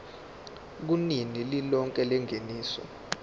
kunani lilonke lengeniso